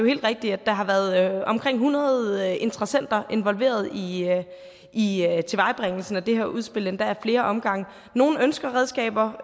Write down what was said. helt rigtigt at der har været omkring hundrede interessenter involveret i i tilvejebringelsen af det her udspil endda ad flere omgange nogle ønsker redskaber